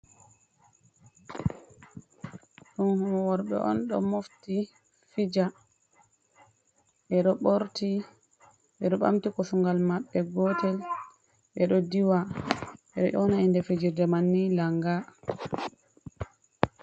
Ɗum worɓe on do mofti fija, ɓeɗo ɓorti, ɓeɗo ɓamti kosungal maɓɓe gotel, ɓeɗo diwa. Ɓeɗo yoona inde fijerde man ni langa.